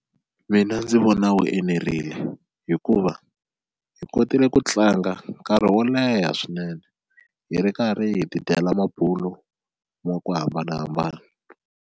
Mina ndzi vona wu enerile hikuva hi kotile ku tlanga nkarhi wo leha swinene hi ri karhi hi tidyela mabulo ma ku hambanahambana.